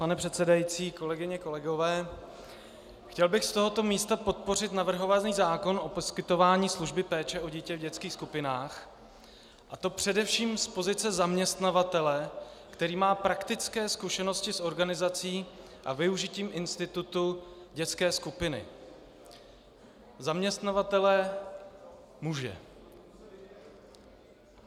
Pane předsedající, kolegyně, kolegové, chtěl bych z tohoto místa podpořit navrhovaný zákon o poskytování služby péče o dítě v dětských skupinách, a to především z pozice zaměstnavatele, který má praktické zkušenosti s organizací a využitím institutu dětské skupiny, zaměstnavatele muže.